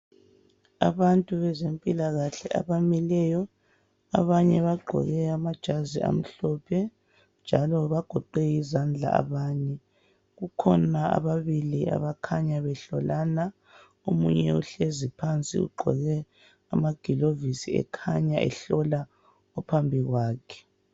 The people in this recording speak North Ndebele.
Abantu bezempilakahle abamileyo. Abanye bagqoke amajazi amhlophe njalo bagoqe izandla abanye. Kukhona ababili abakhanya behlolana .Omunye uhlezi phansi ugqoke amagilovisi ekhanya ehlola ophambi kwakhe.